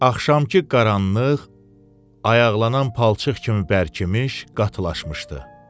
Axşamkı qaranlıq ayaqlanan palçıq kimi bərkimiş, qatılaşmışdı.